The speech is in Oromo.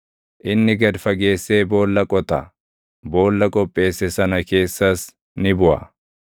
Inni gad fageessee boolla qota; boolla qopheesse sana keessas ni buʼa.